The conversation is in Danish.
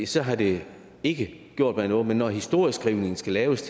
så havde det ikke gjort mig noget men når historieskrivningen skal laves